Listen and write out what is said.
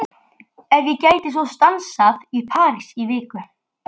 Ef ég gæti svo stansað í París í viku?